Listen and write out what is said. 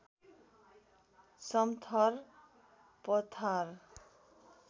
समथर पठार